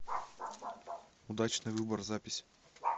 удачный выбор запись